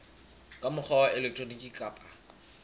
ka mokgwa wa elektroniki kapa